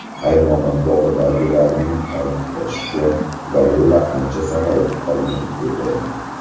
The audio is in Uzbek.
Hayvonot bog‘idagilarning ta’kidlashicha, gorilla ancha sog‘ayib qolgan edi.